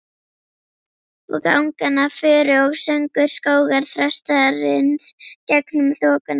og angan af furu og söngur skógarþrastarins gegnum þokuna.